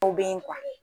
Aw bɛ